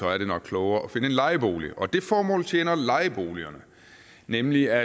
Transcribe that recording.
er det nok klogere at finde en lejebolig og det formål tjener lejeboligerne nemlig at